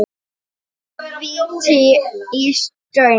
Tvö víti í stöng?